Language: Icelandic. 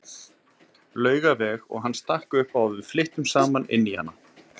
Laugaveg og hann stakk upp á að við flyttum saman inn í hana.